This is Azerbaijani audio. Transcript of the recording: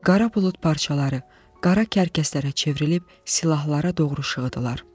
Qara bulud parçaları qara kərkəslərə çevrilib silahlara doğru şığıdılar.